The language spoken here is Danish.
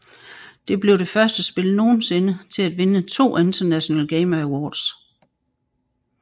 Det blev det første spil nogensinde til at vinde to International Gamers Awards